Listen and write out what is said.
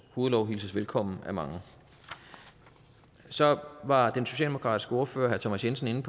hovedlov hilses velkommen af mange så var den socialdemokratiske ordfører herre thomas jensen